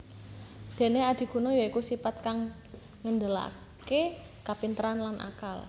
Dene adiguna ya iku sipat kang ngendelake kapinteran lan akal